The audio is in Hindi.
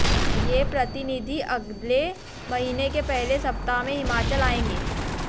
ये प्रतिनिधि अगले महीने के पहले सप्ताह में हिमाचल आएंगे